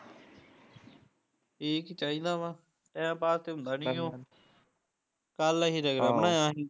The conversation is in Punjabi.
ਠੀਕ ਈ ਚਾਹੀਦਾ ਵਾਂ, ਟੈਮ ਪਾਸ ਤੇ ਹੁੰਦਾ ਨਹੀਂਓ ਕੱਲ ਅਸੀਂ ਰਗੜਾ ਬਣਾਇਆ ਹੀ